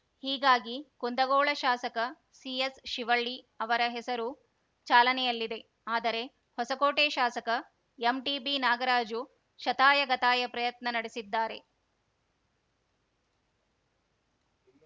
ಹೀಗಾಗಿ ಕುಂದಗೋಳ ಶಾಸಕ ಸಿಎಸ್‌ಶಿವಳ್ಳಿ ಅವರ ಹೆಸರು ಚಾಲನೆಯಲ್ಲಿದೆ ಆದರೆ ಹೊಸಕೋಟೆ ಶಾಸಕ ಎಂಟಿಬಿ ನಾಗರಾಜು ಶತಾಯಗತಾಯ ಪ್ರಯತ್ನ ನಡೆಸಿದ್ದಾರೆ